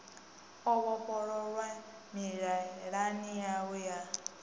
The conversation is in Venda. o vhofholowa mililani yanu ya